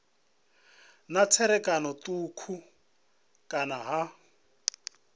na tserakano thukhu kana ha